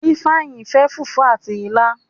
Ifeanyi fẹ fufu àti ila